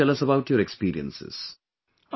Also tell us about your experiences